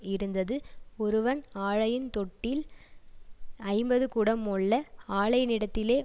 இருந்தது ஒருவன் ஆலையின் தொட்டில் ஐம்பது குடம் மொள்ள ஆலையினிடத்திலே